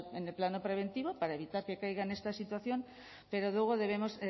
en el plano preventivo para evitar que caiga en esta situación pero luego debemos